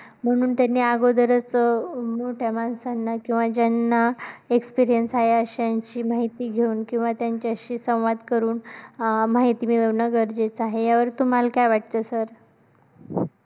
म्हणून त्यांनी अगोदरचं अं मोठ्या माणसांना किंवा ज्यांना experience आहे अश्यांची माहिती घेऊन किंवा त्यांच्याशी संवाद करून अं माहिती मिळवणं गरजेचं आहे. या वरती तुम्हाला काय वाटतं sir